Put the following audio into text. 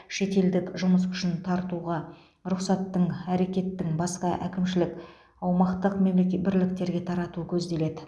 шетелдік жұмыс күшін тартуға рұқсаттың әрекеттің басқа әкімшілік аумақтық мемле бірліктерге тарату көзделеді